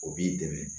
O b'i dɛmɛ